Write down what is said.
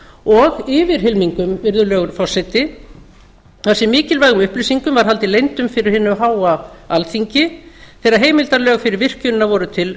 og yfirhylmingum virðulegur forseti þar sem mikilvægum upplýsingum var haldið leyndum fyrir hinu háa alþingi þegar heimildarlög fyrir virkjunina voru til